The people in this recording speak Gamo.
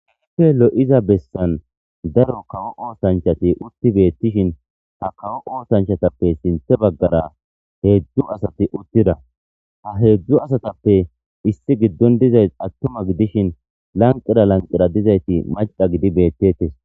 Hupfe lo7iza bessan daro kawo oosanchati utti beettishin ha kawo oosanchatappe sinthe baggara heedzdzu asati uttida ha heedzdzu asatappe issi giddon dizay attuma gidishin lanqera lanqera dizayti macqa gidi beettettes.